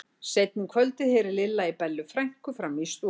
Seinna um kvöldið heyrði Lilla í Bellu frænku frammi í stofu.